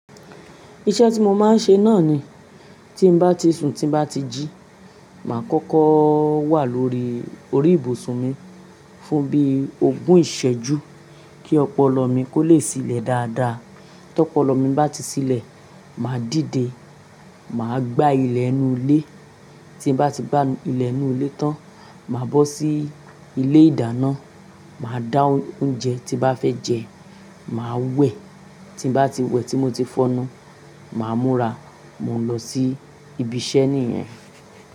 Iṣẹ́ tí mo máa ń ṣe náà ni tí bá ti sun, tí n bá ti jí, màá kọ́kọ́ wà lórí orí ìbùsùn mi fún bí ogún ìṣẹ́jú kí ọpọlọ mi kó lè sílẹ̀ dáadáa. Tí ọpọlọ mi bá ti sílẹ̀, màá dìde. Mà á gbá ilẹ̀ inú ilé. Tí mo bá ti gbá ilẹ̀ inú ilé tán, màá bọ́ sí ilé ìdáná, mà á dá oúnjẹ tí bá fẹ́ jẹ, mà á wẹ̀. Tí mo bá ti wẹ̀, tí mo ti fọ́nu, mà á múra, mò ń lọ sí ibi iṣẹ́ nìyẹn.